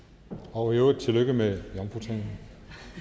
og i øvrigt tillykke med jomfrutalen